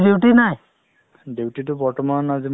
ভাল ভাল মোৰো ভাল কি কৰি আছা এতিয়া ?